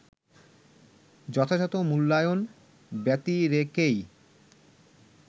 যথাযথ মূল্যায়ন ব্যতিরেকেই